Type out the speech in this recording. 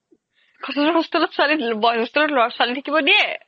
cotton ৰ hostel ত boys hostel ত ছোৱালি থাকিব দিয়ে